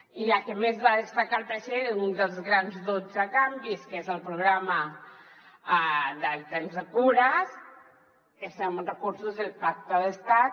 i la que més va destacar el president un dels grans dotze canvis que és el programa del tempsxcures és amb recursos del pacte d’estat